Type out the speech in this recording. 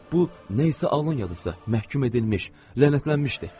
Bu nə isə alın yazısı, məhkum edilmiş, lənətlənmişdi.